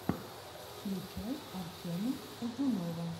включай артема узунова